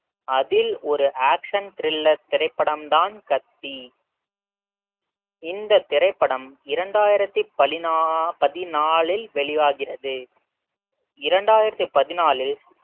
அதில் ஒரு action thriller திரைப்படம் தான் கத்தி இந்தத் திரைப்படம் இரண்டாயிரத்தி பதினா~பதினாலில் வெளியாகிறது இரண்டாயிரத்தி பதினான்கில்